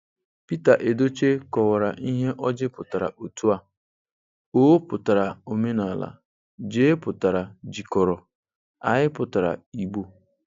Pita Edochie kọwara ihe ỌJỊ pụtara otu a: Ọ putara Omenala, J pụtara Jikọrọ, I pụtara Igbo.